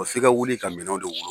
O f'i ka wuli ka minɛn de wolo